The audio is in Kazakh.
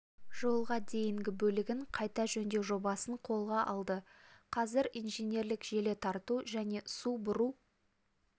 жолға дейінгі бөлігін қайта жөндеу жобасын қолға алды қазір инженерлік желі тарту және су бұру